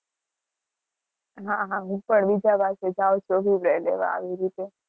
હ હ હું પણ